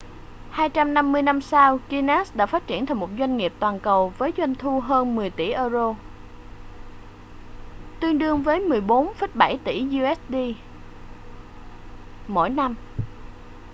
250 năm sau guinness đã phát triển thành một doanh nghiệp toàn cầu với doanh thu hơn 10 tỷ euro tương đương với 14,7 tỷ usd mỗi năm